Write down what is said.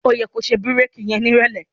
Ó yẹ ko ṣe bírèkì yẹn nírọ̀lẹ́.